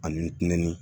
Ani nɛni